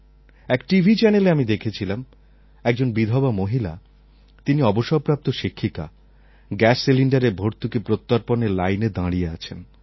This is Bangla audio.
এক টিভি চ্যানেলে আমি দেখেছিলাম একজন বিধবা মহিলা তিনি অবসরপ্রাপ্ত শিক্ষিকা গ্যাস সিলিণ্ডারের ভর্তুকি প্রত্যর্পণের লাইনে দাঁড়িয়ে আছেন